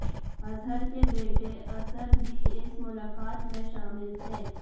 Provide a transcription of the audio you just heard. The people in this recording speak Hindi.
अजहर के बेटे असद भी इस मुलाकात में शामिल थे